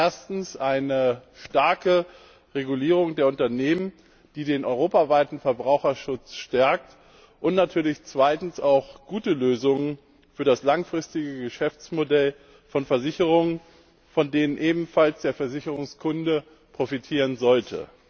Erstens eine starke Regulierung der Unternehmen, die den europaweiten Verbraucherschutz stärkt, und natürlich zweitens auch gute Lösungen für das langfristige Geschäftsmodell von Versicherungen, von denen ebenfalls der Versicherungskunde profitieren sollte.